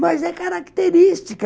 Mas é característica.